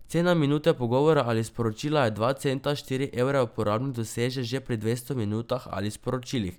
Cena minute pogovora ali sporočila je dva centa, štiri evre uporabnik doseže že pri dvesto minutah ali sporočilih.